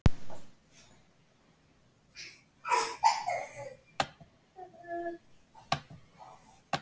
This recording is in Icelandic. Ég þekki líka mitt heimafólk.